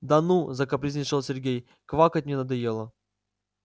да ну закапризничал сергей квакать мне надоело